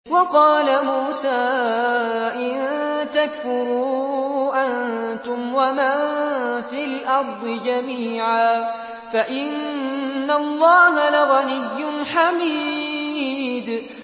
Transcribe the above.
وَقَالَ مُوسَىٰ إِن تَكْفُرُوا أَنتُمْ وَمَن فِي الْأَرْضِ جَمِيعًا فَإِنَّ اللَّهَ لَغَنِيٌّ حَمِيدٌ